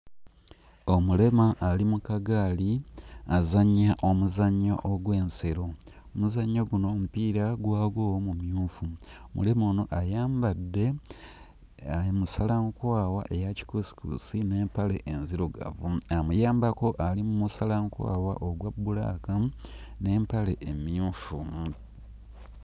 Omulema ali mu kagaali azannya omuzannyo ogw'ensero. Omuzannyo guno omupiira guba ggwo mumyufu. Omulema ono ayambadde uh musalankwawa eya kikuusikuusi n'empale enzirugavu. Amuyambako ali mmusalankwawa ogwa bbulaaka n'empale emmyufu.